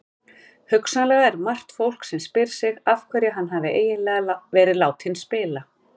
Hugsanlega er margt fólk sem spyr sig af hverju hann hafi eiginlega verið látinn spila?